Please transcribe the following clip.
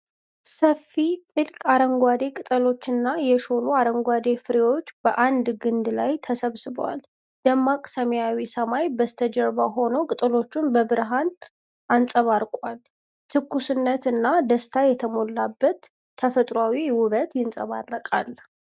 ሰፊ፣ ጥልቅ አረንጓዴ ቅጠሎችና የሾሉ አረንጓዴ ፍሬዎች በአንድ ግንድ ላይ ተሰብስበዋል። ደማቅ ሰማያዊው ሰማይ በስተጀርባ ሆኖ ቅጠሎቹ በብርሃን አንጸባርቀዋል። ትኩስነትና ደስታ የሞላበት ተፈጥሮአዊ ውበት ይንጸባረቃል።